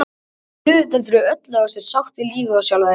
Það er auðvitað fyrir öllu að þú sért sátt við lífið og sjálfa þig.